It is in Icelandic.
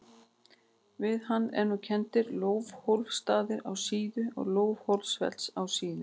Við hann eru kenndir Leiðólfsstaðir á Síðu og Leiðólfsfell á Síðu.